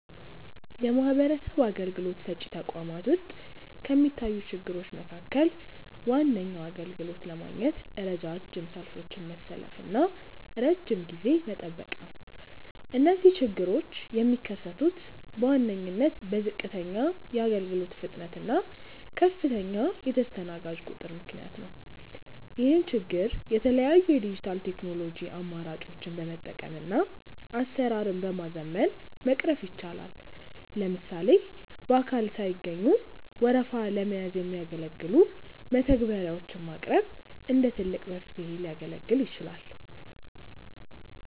የማህበረሰብ አገልግሎት ሰጪ ተቋማት ውስጥ ከሚታዩ ችግሮች መካከል ዋነኛው አገልግሎት ለማግኘት ረጃጅም ሰልፎችን መሰለፍና ረጅም ጊዜ መጠበቅ ነው። እነዚህ ችግሮች የሚከሰቱት በዋነኝነት በዝቅተኛ የአገልግሎት ፍጥነት እና ከፍተኛ የተስተናጋጅ ቁጥር ምክንያት ነው። ይህን ችግር የተለያዩ የዲጂታል ቴክኖሎጂ አማራጮችን በመጠቀምና አሰራርን በማዘመን መቅረፍ ይቻላል። ለምሳሌ በአካል ሳይገኙ ወረፋ ለመያዝ የሚያገለግሉ መተግበሪያዎች ማቅረብ እንደ ትልቅ መፍትሄ ሊያገለግል ይችላል።